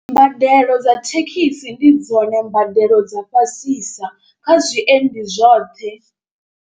Mbadelo dza thekhisi ndi dzone mbadelo dza fhasisa kha zwiendi zwoṱhe.